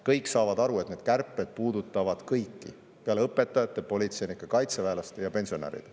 Kõik saavad aru, et need kärped puudutavad kõiki peale õpetajate, politseinike, kaitseväelaste ja pensionäride.